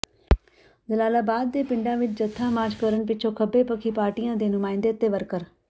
ਜਲਾਲਾਬਾਦ ਦੇ ਪਿੰਡਾਂ ਵਿੱਚ ਜਥਾ ਮਾਰਚ ਕਰਨ ਪਿੱਛੋਂ ਖੱਬੇ ਪੱਖੀ ਪਾਰਟੀਆਂ ਦੇ ਨੁਮਾਇੰਦੇ ਤੇ ਵਰਕਰ